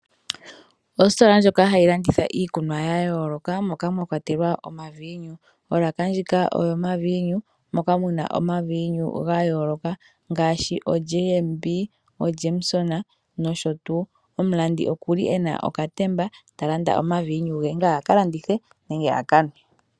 Ositola ndjoka hayi landitha iikunwa ya yooloka mwa kwatelwa . Moka mwa kwatelwa omaviinu. Olaka ndjika oyomaviinu. Omuna oma viinu ga yooloka nosho tuu. Omulandi okuna okatemba talanda omaviinu ge aka landithe nenge aka nwe.